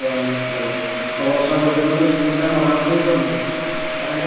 ନିଶ୍ଚିନ୍ତ ଭାବେ ଆଠ ବର୍ଷହେଲା ଯଦି ଗୋଟେ ସ୍କୁଲ ଟା ଯଦି ମରାମତି ହେଇପାରୁନି ତାହାଲେ